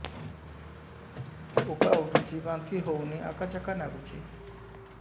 ଉକା ଉଠୁଚି ବାନ୍ତି ହଉନି ଆକାଚାକା ନାଗୁଚି